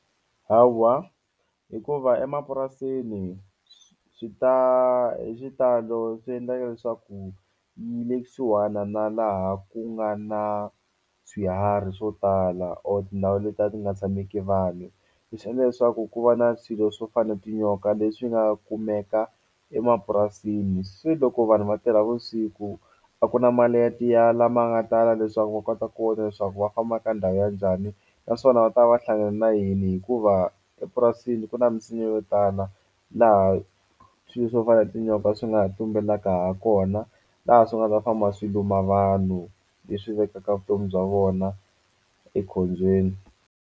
Hawa hikuva emapurasini swi ta hi xitalo swi endlaka leswaku yi le kusuhana na laha ku nga na swiharhi swo tala or tindhawu letiya ti nga tshameki vanhu leswi endla leswaku ku va na swilo swo fana tinyoka leswi nga kumeka emapurasini se loko vanhu va tirha vusiku a ku na mali ya lama nga tala leswaku va kota ku vona leswaku va famba ka ndhawu ya njhani naswona va ta va hlangane na yini hikuva epurasini ku na minsinya yo tala laha swilo swo fana tinyoka swi nga ha tumbelaka ha kona laha swi nga ta famba swi luma vanhu leswi vekaka vutomi bya vona ekhombyeni.